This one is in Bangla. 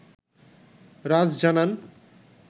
রাজ জানান